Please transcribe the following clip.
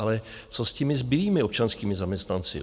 Ale co s těmi zbylými občanskými zaměstnanci?